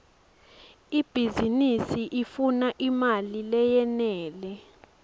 ibhizinisi ifuna imali leyenele